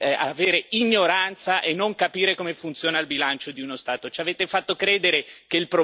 Ci avete fatto credere che il problema e la causa della crisi fossero il debito pubblico e il deficit.